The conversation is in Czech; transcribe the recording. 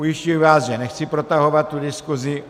Ujišťuji vás, že nechci protahovat tu diskusi.